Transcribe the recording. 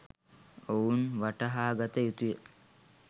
ඔවුන් වටහාගත යුතුය.